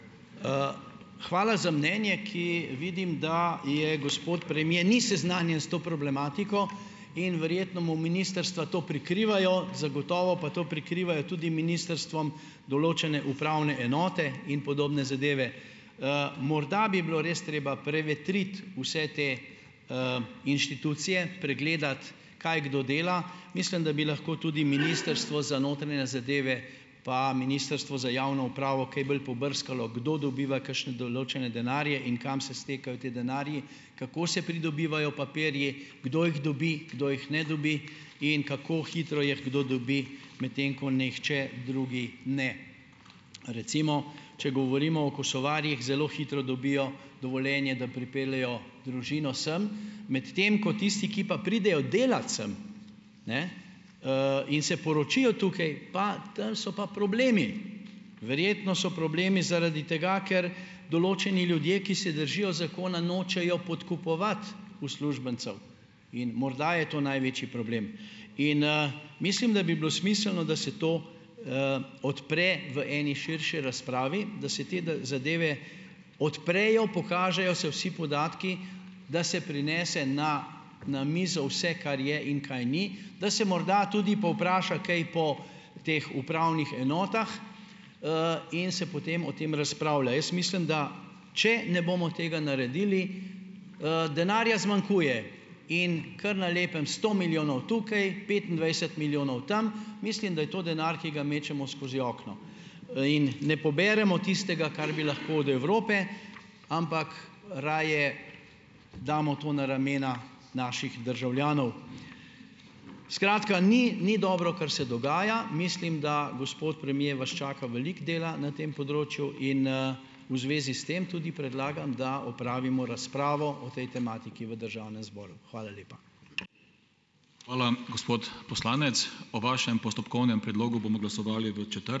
Hvala za mnenje, ki vidim, da je gospod premier ni seznanjen s to problematiko in verjetno mu ministrstva to prikrivajo, zagotovo pa to prikrivajo tudi ministrstvom določene upravne enote in podobne zadeve. Morda bi bilo res treba prevetriti vse te, inštitucije, pregledati, kaj kdo dela. Mislim, da bi lahko tudi ministrstvo za notranje zadeve pa Ministrstvo za javno upravo kaj bolj pobrskalo, kdo dobiva kakšne določene denarje in kam se stekajo ti denarji, kako se pridobivajo papirji, kdo jih dobi, kdo jih ne dobi in kako hitro jih kdo dobi, medtem ko nihče drugi ne. Recimo, če govorimo o Kosovarjih, zelo hitro dobijo dovoljenje, da pripeljejo družino sem, medtem ko tisti, ki pa pridejo delat sem, ne, in se poročijo tukaj, pa tam so pa problemi. Verjetno so problemi zaradi tega, ker določeni ljudje, ki se držijo zakona, nočejo podkupovati uslužbencev in morda je to največji problem. In, mislim, da bi bilo smiselno, da se to, odpre v eni širši razpravi, da se te zadeve odprejo, pokažejo se vsi podatki, da se prinese na na mizo vse, kar je in kaj ni, da se morda tudi povpraša kaj po teh upravnih enotah, in se potem o tem razpravlja. Jaz mislim, da če ne bomo tega naredili, denarja zmanjkuje, in kar na lepem sto milijonov tukaj, petindvajset milijonov tam, mislim, da je to denar, ki ga mečemo skozi okno, in ne poberemo tistega, kar bi lahko od Evrope, ampak raje damo to na ramena naših državljanov. Skratka, ni ni dobro, kar se dogaja. Mislim, da, gospod premier, vas čaka veliko dela na tem področju in, v zvezi s tem tudi predlagam, da opravimo razpravo o tej tematiki v državnem zboru. Hvala lepa.